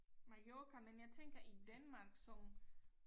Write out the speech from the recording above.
Mallorca men jeg tænker i Danmark som